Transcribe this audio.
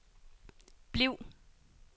bliv